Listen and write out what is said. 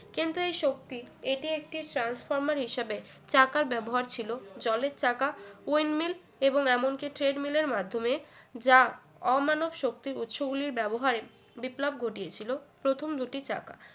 কিন্তু এই শক্তি এটি একটি transformer হিসেবে চাকার ব্যবহার ছিল জলের চাকা wind mill এবং এমনকি trade mill এর মাধ্যমে যা অমানব শক্তির উৎস গুলির ব্যবহারে বিপ্লব ঘটিয়েছিল প্রথম দুটি চাকা